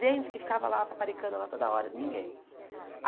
Gente que ficava lá, paparicando lá toda hora, ninguém.